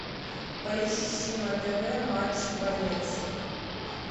поищи на тв матч боец